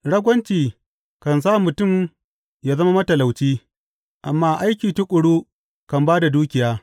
Ragwanci kan sa mutum yă zama matalauci, amma aiki tuƙuru kan ba da dukiya.